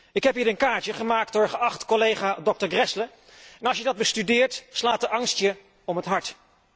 Ik heb hier een kaartje, gemaakt door geachte collega Grässle, en als je dat bestudeert slaat de angst je om het hart.